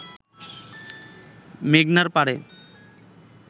মেঘনার পাড়ে